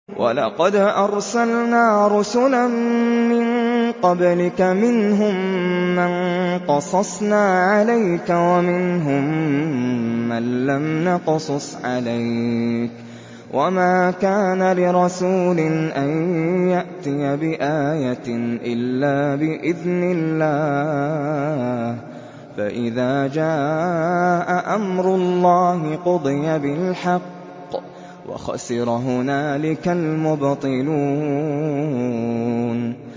وَلَقَدْ أَرْسَلْنَا رُسُلًا مِّن قَبْلِكَ مِنْهُم مَّن قَصَصْنَا عَلَيْكَ وَمِنْهُم مَّن لَّمْ نَقْصُصْ عَلَيْكَ ۗ وَمَا كَانَ لِرَسُولٍ أَن يَأْتِيَ بِآيَةٍ إِلَّا بِإِذْنِ اللَّهِ ۚ فَإِذَا جَاءَ أَمْرُ اللَّهِ قُضِيَ بِالْحَقِّ وَخَسِرَ هُنَالِكَ الْمُبْطِلُونَ